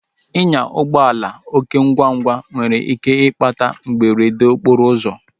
Inya ụgbọala oké ngwa ngwa nwere ike ịkpata mberede okporo ụzọ